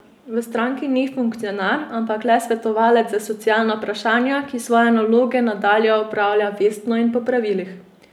V stranki ni funkcionar, ampak le svetovalec za socialna vprašanja, ki svoje naloge nadalje opravlja vestno in po pravilih.